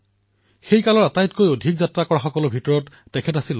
তেওঁ নিজৰ সময়ত সকলোতকৈ অধিক যাত্ৰা কৰা ভ্ৰমণাৰ্থী হিচাপে পৰিচিত হৈছিল